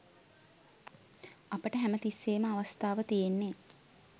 අපට හැම තිස්සේම අවස්ථාව තියෙන්නේ